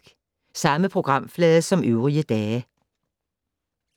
Samme programflade som øvrige dage